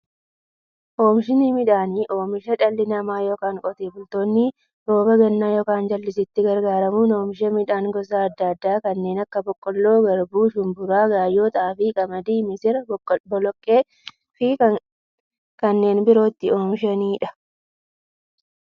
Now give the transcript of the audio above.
Oomishni midhaanii, oomisha dhalli namaa yookiin Qotee bultoonni roba gannaa yookiin jallisiitti gargaaramuun oomisha midhaan gosa adda addaa kanneen akka; boqqoolloo, garbuu, shumburaa, gaayyoo, xaafii, qamadii, misira, boloqqeefi kanneen biroo itti oomishaniidha.